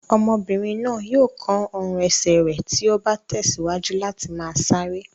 Ọmọbìnrin náà yóò kán ọrùn-ẹsẹ̀ rẹ̀ tí ó bá tẹ̀síwájú láti máa sáré.